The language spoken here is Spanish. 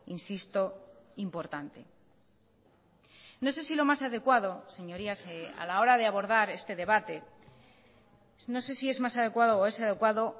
insisto importante no sé si lo más adecuado señorías a la hora de abordar este debate no sé si es más adecuado o es adecuado